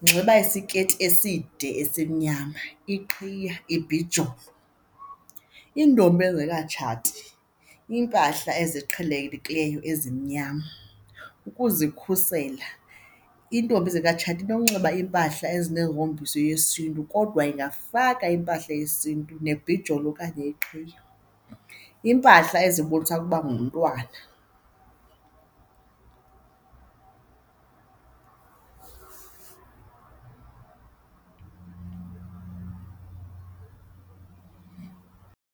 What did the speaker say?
unxiba isiketi eside esimnyama, iqhiya iibhijolo. Iintombi ezingekatshati, iimpahla eziqhelekileyo ezimnyama ukuzikhusela. Iintombi ezingekatshati inokunxiba impahla ezinehombiso yesintu kodwa ingafaka impahla yesintu nebhijolo okanye iqhiya, iimpahla ezibonisa ukuba ngumntwana.